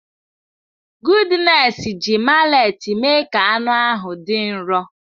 Goodness ji mallet mee ka anụ ahụ dị nro.